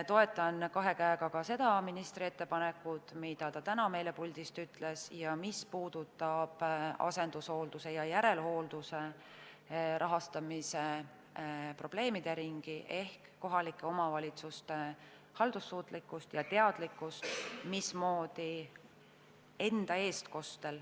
Toetan kahe käega ka seda ministri ettepanekut, mida ta täna puldist ütles, mis puudutab asendushoolduse ja järelhoolduse rahastamise probleemide ringi ehk kohalike omavalitsuste haldussuutlikkust ja teadlikkust.